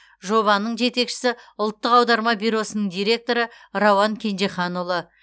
жобаның жетекшісі ұлттық аударма бюросының директоры рауан кенжеханұлы